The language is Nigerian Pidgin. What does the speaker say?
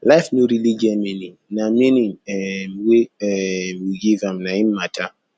life no really get meaning na meaning um wey um we give am na im matter